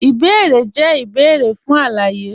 Ìbèérè jẹ̀ ìbèérè fún aláyé.